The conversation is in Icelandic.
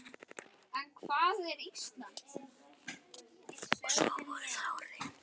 Og svo voru það orðin.